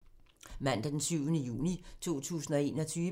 Mandag d. 7. juni 2021